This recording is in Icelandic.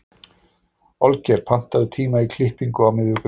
Olgeir, pantaðu tíma í klippingu á miðvikudaginn.